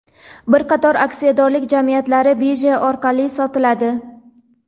bir qator aksiyadorlik jamiyatlari birja orqali sotiladi.